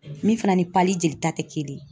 Min fana ni jelita tɛ kelen ye